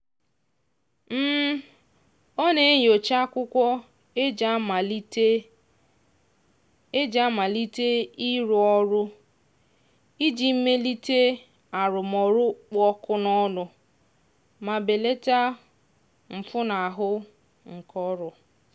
ọ na-enyocha akwụkwọ e ji amalite e ji amalite ịrụ ọrụ iji melite arụmọrụ kpụ ọkụ n'ọnụ ma belata mfunahụ ike ọrụ.